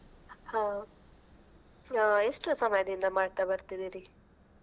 ಹಾ. ಆ ಎಷ್ಟು ಸಮಯದಿಂದ ಮಾಡ್ತಾ ಬರ್ತಿದಿರಿ?